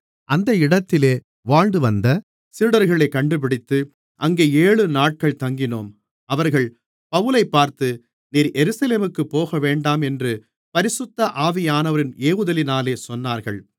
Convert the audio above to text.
அந்த இடத்திலே வாழ்ந்துவந்த சீடர்களைக் கண்டுபிடித்து அங்கே ஏழுநாட்கள் தங்கினோம் அவர்கள் பவுலைப் பார்த்து நீர் எருசலேமுக்குப் போகவேண்டாம் என்று பரிசுத்த ஆவியானவரின் ஏவுதலினாலே சொன்னார்கள்